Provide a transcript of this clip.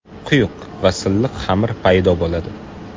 Quyuq va silliq xamir paydo bo‘ladi.